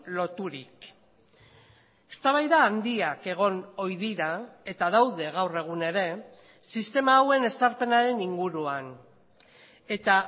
loturik eztabaida handiak egon ohi dira eta daude gaur egun ere sistema hauen ezarpenaren inguruan eta